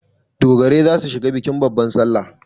Dogarai za su shiga bikin babban salla.